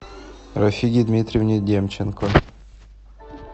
рафиге дмитриевне демченко